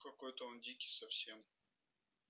какой-то он дикий совсем